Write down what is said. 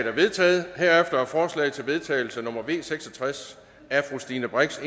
er vedtaget herefter er forslag til vedtagelse nummer v seks og tres af stine brix